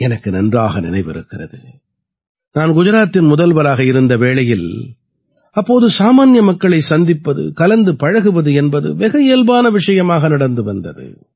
எனக்கு நன்றாக நினைவிருக்கிறது நான் குஜராத்தின் முதல்வராக இருந்த வேளையில் அப்போது சாமான்ய மக்களைச் சந்திப்பது கலந்து பழகுவது என்பது வெகு இயல்பான விஷயமாக நடந்து வந்தது